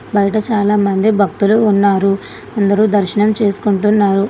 బయట చాలా మంది భక్తులు ఉన్నారు అందరూ దర్శనం చేసుకుంటున్నారు.